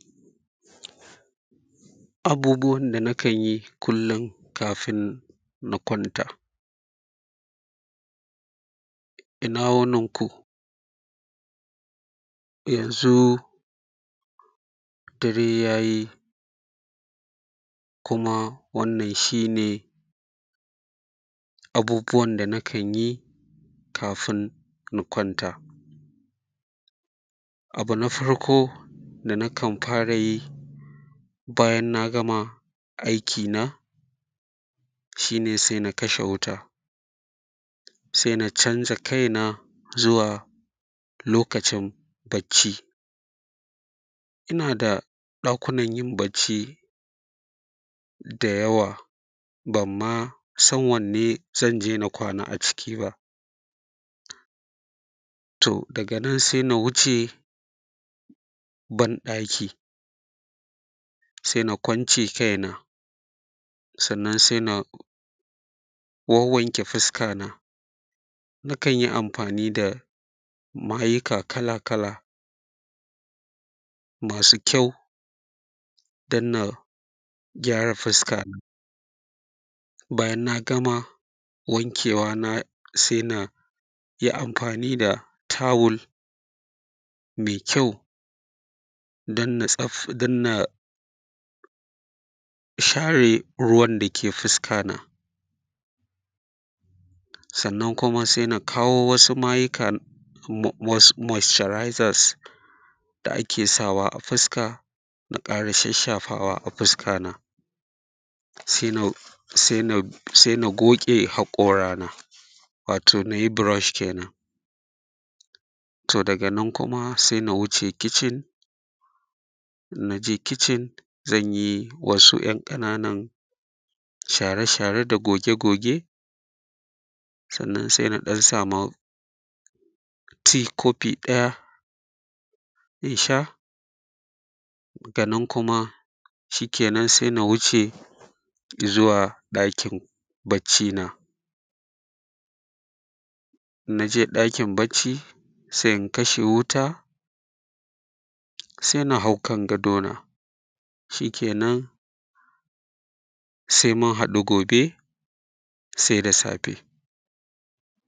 Abubuwan da nakan yi kullum kafin na kwanta, ina wunin ku, yanzu dare ya yi, kuma wannan shi ne abubuwan da na kan yi, kafin na kwanta. Abu na farko da na kan fara yi bayan na gama aikina, shi ne se na kashe wuta, se na canja kaina zuwa lokacin bacci. Ina da ɗakunan yin bacci da yawa bam ma san wanne zan je na kwana a ciki ba, to daga nan se na wuce banɗaki, se na kwance kaina sannan se na wanwanke fuskana, nakan yi amfani da mayika kalakala, masu kyau dan na gyara fiskana. Bayan na gama wankewa na; se na yi amfani da tawul me kyau dan na tsaf; dan na share ruwan da ke fiskana sannan kuma se na kawo wasu mayika bub; wasu “moisturizers” da ake sawa a fiska, na ƙara shashshafawa a fiskana, se na ruf; se na; goge haƙorana, wato na yi burosh kenan. To daga nan kuma se na wuce kicin, in na je kicin zan yi wasu ‘yan ƙananan share-share da goge-goge, sannan se na ɗan sama “tea” kofi ɗaya in sha, daga nan kuma, shikenan se na wuce zuwa ɗakin baccina In na je ɗakin bacci, se in kashe wuta, se na hau kan gadona, shikenan se mun haɗu gobe, se da safe.